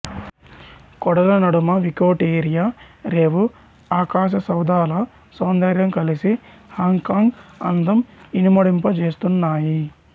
కొడల నడుమ వికోటిరియా రేవు ఆకాశసౌధాల సౌందర్యం కలసి హాంగ్ కాంగ్ అందం ఇనుమడింపజేస్తున్నాయి